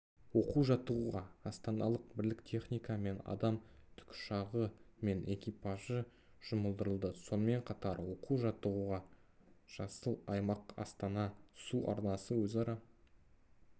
оқу-жаттығуға астаналық бірлік техника мен адам тікұшағы мен экипажы жұмылдырылды сонымен қатар оқу-жаттығуға жасыл аймақ астана су арнасы өзара